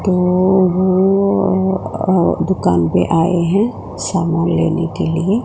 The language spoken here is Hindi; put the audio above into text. को हुआ है अ दुकान पे आए हैं सामान लेने के लिए।